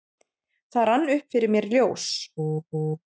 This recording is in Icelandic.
Það rann upp fyrir mér ljós: